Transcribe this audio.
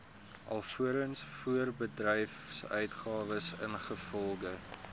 alvorens voorbedryfsuitgawes ingevolge